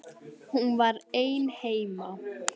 Hún var ein heima.